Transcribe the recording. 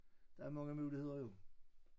Der er mange muligheder jo